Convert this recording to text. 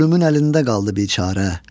ölümün əlində qaldı biçarə.